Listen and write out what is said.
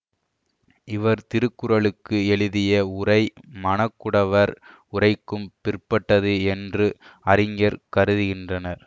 இவர் திருக்குறளுக்கு எழுதிய உரை மணக்குடவர் உரைக்கும் பிற்பட்டது என்று அறிஞர் கருதுகின்றனர்